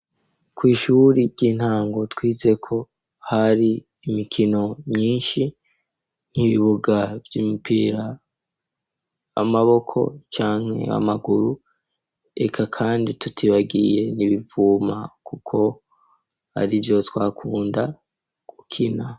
Kw'ishuri ry'intango twizeko hari imikino myinshi nkibibuga vy'imipira amaboko canke amaguru ega, kandi tutibagiye nibivuma, kuko ari vyo twakunda gukina.